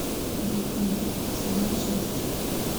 викинги сезон шесть